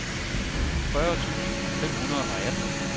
fyrre tusind fem hundrede og atten